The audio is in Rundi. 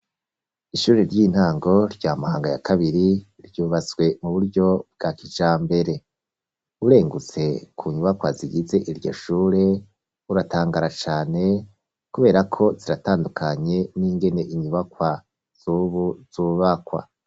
Ishure ry'intango rya Mahanga ya kabiri, ryubatswe mu buryo bwa kijambere urengutse ku nyubakwa zigize iryo shure, uratangara cane kubera ko ziratandukanye n'ingene inyubakwa z'ubu zubakwa.